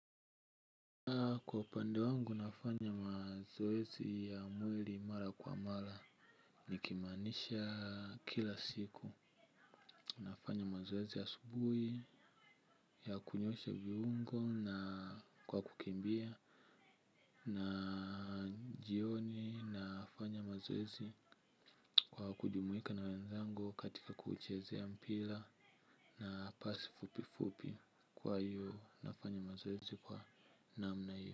Kwa upande wangu nafanya mazoezi ya mwili mara kwa mara nikimaanisha kila siku. Nafanya mazoezi ya asubuhi ya kunyosha viungo na kwa kukimbia. Na jioni nafanya mazoezi kwa kujumuika na wenzangu katika kuchezea mpira na pasi fupi fupi. Kwa hiyo nafanya mazoezi kwa namna hiyo.